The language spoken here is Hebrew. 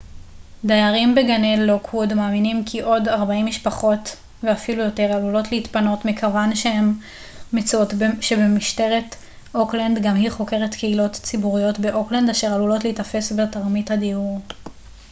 דיירים בגני לוקווד מאמינים כי עוד 40 משפחות ואפילו יותר עלולות להתפנות מכיוון שהן מצאו שמשטרת אוקלנד גם היא חוקרת קהילות ציבוריות באוקלנד אשר עלולת להיתפס בתרמית הדיור